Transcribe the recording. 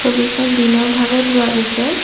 ছবিখন দিনৰ ভাগত লোৱা গৈছে।